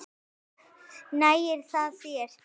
Nægir það þér?